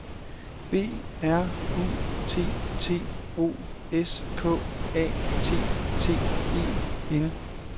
B R U T T O S K A T T E N